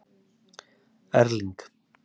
Erling